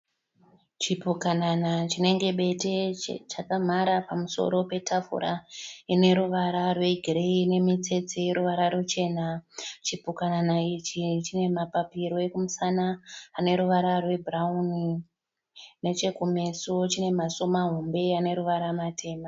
Chipukanana chinenge bete chakamhara pamusoro petafura ine ruvara rwegireyi ine mitsetse yeruvara ruchena. Chipukanana ichi chine mapapiro ekumusana ane ruvara rwebhurauni. Nechekumeso chine maziso mahombe ane ruvara matema.